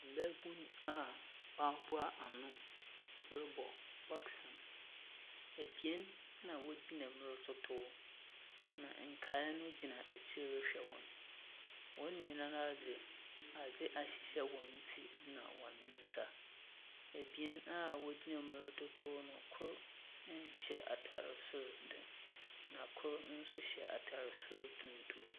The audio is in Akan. Mbabun a wɔaboa ano robɔ boxing. Ebien na wɔgyina mu rototow. Na nkaa gyina ekyir rehwɛ hɔn. Hɔn nyinaa dze adzɛ ahyehyɛ hɔn tir na hɔn nsa. Ebien a wɔgyina mu rototow no, kor nhye atar sor dze no, na kor nso hya atar sor tuntum.